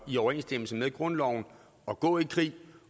i overensstemmelse med grundloven at gå i krig